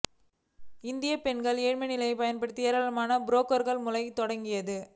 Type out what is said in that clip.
இந்திய பெண்களின் ஏழ்மை நிலைமையை பயன்படுத்தி ஏராளமான புரோக்கர்கள் முளைக்க தொடங்கினர்